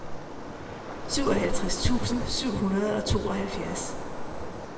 syvoghalvtreds tusind syv hundrede og tooghalvfjerds